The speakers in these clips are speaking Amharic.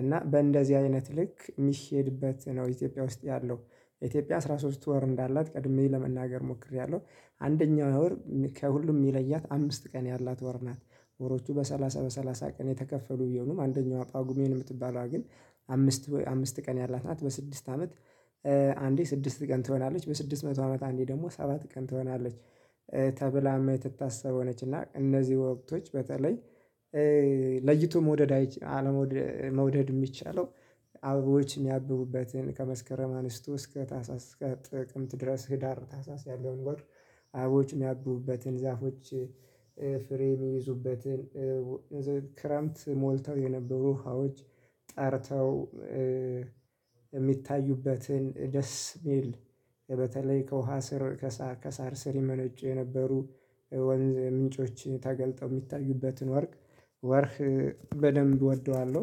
እና በእንደዚህ አይነት ልክ የሚሄድበት ነው። ኢትዮጵያ ውስጥ ያለው ኢትዮጵያ አስራ ሶስት ወር እንዳላት ቀድሜ ለመናገር ሞክሬያለሁ። አንደኛው ወር ከሁሉም የሚለያት አምስት ቀን ያላት ወር ናት። ወሮቹ በሰላሳ በሰላሳ ቀን የተከፈሉ ቢሆኑም አንደኛው ጳጉሜን የምትባላ ግን አምስት አምስት ቀን ያላት ናት በስድስት አመት አንዴ ስድስት ቀን ትሆናለች በስድስት መቶ አመት አንዴ ደግሞ ሰባት ቀን ትሆናለች። ተብላ የምትታሰበው ነች እና እነዚህ ወቅቶች በተለይ ለይቶ መውደድ አለመውደድ የሚቻለው አበቦች የሚያብቡበትን ከመስከረም አንስቶ እስከ ታሳስ እስከ ጥቅምት ድረስ ህዳር ታሳስ ጥር አበቦች የሚያብቡትን ዛፎች ፍሬ የሚይዙበትን ክረምት ሞልተው የነበሩ ውሃዎች ጠርተው የሚታዩበትን ደስ የሚል በተለይ ከውሃ ስር ከሳር ስር ይመነጩ የነበሩ ወንዝ ምንጮችን ተገልጠው የሚታዩበትን ወር ወርቅ በደንብ እወደዋለሁ።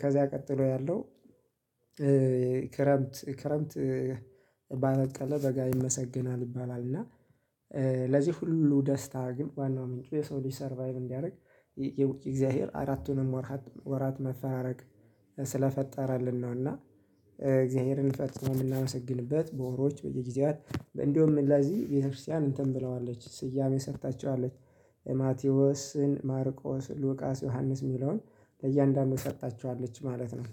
ከዛ ቀጥሎ ያለው ክረምት ክረምት ባበቀለ በጋ ይመሰግናል ይባላል እና። ለዚህ ሁሉ ደስታ ግን ዋናው ምንጩ የሰው ልጅ ሰርቫይቭ እንዲያደርግ ይልቅ እግዚአብሔር አራቱንም ወራት ወራት መፈራረቅ ስለፈጠረልን ነውና። እግዚአብሔርን ፈጽሞ የምናመሰግንበት በወሮች በየጊዜያት እንደውም ለዚህ ቤተክርስቲያን እንትን ብለዋለች ስያሜ ሰጥታቸዋለች። ማቴዎስን ማርቆስ ሉቃስ ዮሐንስ ሚለውን ለእያንዳንዱ ሰጥታችኋለች ማለት ነው